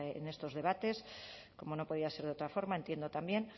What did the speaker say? en estos debates como no podía ser de otra forma entiendo también